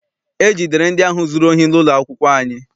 E jidere ndị ahụ zụrụ ohi n'ụlọ akwụkwọ anyị.